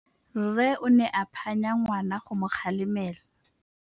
Rre o ne a phanya ngwana go mo galemela.